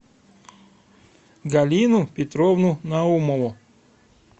галину петровну наумову